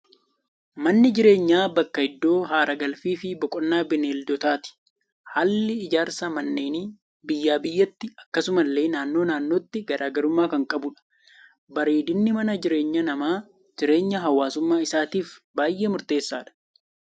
Manni jireenyaa, bakka iddoo haara galfii fi boqonnaa bineeldotaati. Haalli ijaarsa manneenii biyyaa biyyattii, akkasuma illee naannoo naannootti garaagarummaa kan qabudha. Bareedinni mana jireenyaa namaa, jireenya hawaasummaa isaatiif baayyee murteessaadha.